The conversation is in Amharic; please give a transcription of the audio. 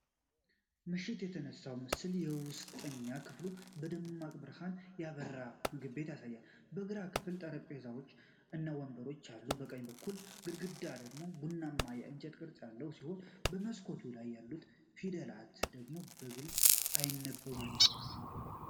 ምሽት የተነሳው ምስል የውስጠኛ ክፍሉ በደማቅ ብርሃን ያበራ ምግብ ቤት ያሳያል። የግራ ክፍል ጠረጴዛዎች እና ወንበሮች አሉት። የቀኝ በኩል ግድግዳ ደግሞ ቡናማ የእንጨት ቅርጽ ያለው ሲሆን፤ የመስኮቱ ላይ ያሉት ፊደላት ግን በግልጽ አይነበቡም።